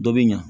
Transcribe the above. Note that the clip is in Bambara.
Dɔ bɛ ɲa